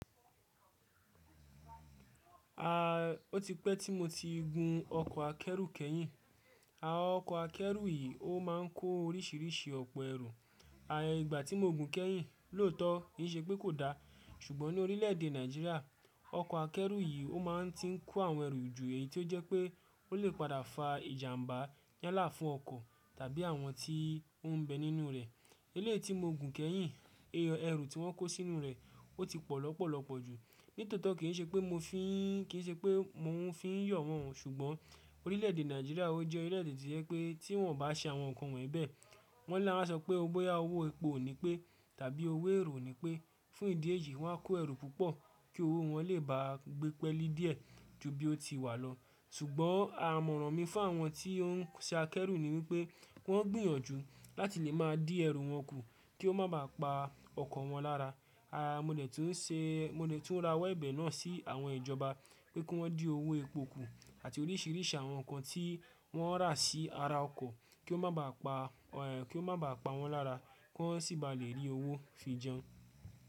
A, o ti pẹ́ tí mo ti gun ọkọ̀ akẹ́rù kẹ́yìn. A, ọkọ̀ akẹ́rù yìí ó má a ń kó oríṣìíríṣìí ọkọ̀ ẹrù. A, ìgbà tí mo gùn kẹ́yìn, lóòótọ́ kì í ṣe pé kò da, ṣùgbọ́n ní orílẹ̀èdè Nàìjíríà, ọkọ̀ akẹ́rù yìí ó má a ń ti ń kó àwọn ẹrù ju èyí tó jẹ́ pé ó lè padà fa ìjàmbá yálà fún ọkọ̀ tàbí àwọn tí ó ń bẹ nínú rẹ̀. Eléyìí tí mo gùn kẹ́yìn, ẹrù tí wọ́n kó sínú rẹ̀ ó ti pọ̀lọ́pọ̀lọ́pọ̀ ju. Nítòótọ́ kì í ṣe pé mo fi ń, kì í ṣe pé mo ń fi ń yọ wọ́n, ṣùgbọ́n orílẹ̀èdè Nàìjíríà ó jẹ́ orílẹ̀èdè tí ó je pé tí wọ́n bá ṣe àwọn nǹkan wọ̀nyí bẹ́ẹ̀, wọ́n yá máa sọ pé o bóya owó epo ò ní pé tàbí owó ẹrù ò ní pé. Fún ìdí èyí, wọ́n a kó ẹrù púpọ̀ kí owó wọn lè bá gbé pẹ́lí díẹ̀ ju bí ó ti wà lọ. Ṣùgbọ́n àmọ̀ràn mi fún àwọn tí ó ń ṣe akẹ́rù ni wípé kiwọ́n gbìyànjú láti lè máa dí ẹrù wọn kù kí ó má bàá pa ọkọ̀ wọn lára. A, mo lè tún ṣe, mo lè tún ran wo ẹ̀bẹ̀ náà sí àwọn ìjọba pé kí wọ́n dí owó epo kù àti oríṣìíríṣìí àwọn nǹkan tí wọ́n rà sí ara ọkọ̀ kí ó má bàá pa, a, kí ó má bàá pa wọ́n lára kí wọ́n sì bá lè rí owó fi jẹun.